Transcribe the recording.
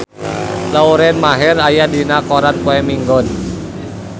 Lauren Maher aya dina koran poe Minggon